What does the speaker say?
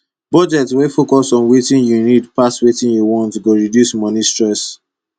budget wey dey focus on wetin you need pass wetin you want go reduce moni stress